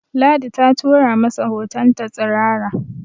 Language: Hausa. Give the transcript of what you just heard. Ladi ta tura masa hotonta tsirara